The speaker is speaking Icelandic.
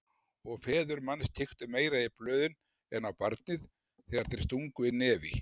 Og feður manns kíktu meira í blöðin en á barnið þegar þeir stungu inn nefi.